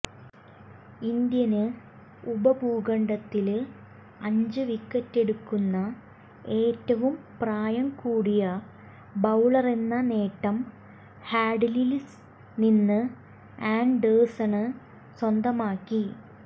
Indian ഉപഭൂഖണ്ഡത്തില് അഞ്ച് വിക്കറ്റെടുക്കുന്ന ഏറ്റവും പ്രായം കൂടിയ ബൌളറെന്ന നേട്ടം ഹാഡ്ലില്നിന്ന് ആന്ഡേഴ്സണ് സ്വന്തമാക്കി